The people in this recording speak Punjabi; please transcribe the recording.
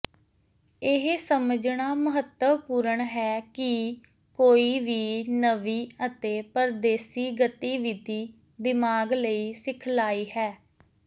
ਇਹ ਸਮਝਣਾ ਮਹੱਤਵਪੂਰਣ ਹੈ ਕਿ ਕੋਈ ਵੀ ਨਵੀਂ ਅਤੇ ਪਰਦੇਸੀ ਗਤੀਵਿਧੀ ਦਿਮਾਗ ਲਈ ਸਿਖਲਾਈ ਹੈ